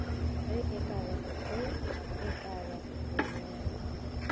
ge e ka ba bonnyane